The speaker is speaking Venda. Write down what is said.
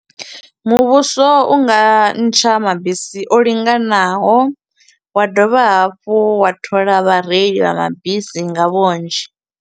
Muvhuso u nga ntsha mabisi o linganaho, wa dovha hafhu wa thola vhareili vha mabisi nga vhunzhi.